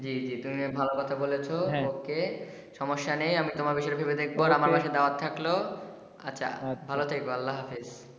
জি জি তুমিও ভালো কথা বলেছ okay সমস্যা নেই আমি তোমার বিষয়ে ভেবে দেখব আর আমার বাসায় দাওয়াত থাকল আচ্ছা ভালো থেকো আল্লা হাফিস।